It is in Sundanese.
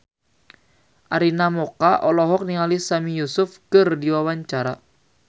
Arina Mocca olohok ningali Sami Yusuf keur diwawancara